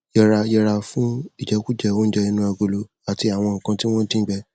yẹra yẹra fún ìjẹkújẹ oúnjẹ inú agolo àti àwọn nǹkan tí wọn dín gbẹ